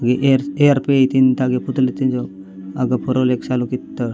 वे एयरस एयर पेयि तीन तागै पुतला तेंदो आगा पोरो एक सालो कितो --